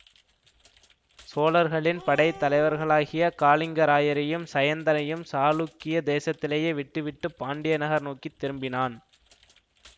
சோழர்களின் படை தலைவர்களாகிய காளிங்கராயரையும் சயந்தனையும் சாளுக்கிய தேசத்திலேயே விட்டுவிட்டு பாண்டிய நகர் நோக்கி திரும்பினான்